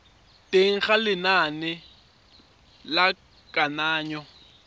teng ga lenane la kananyo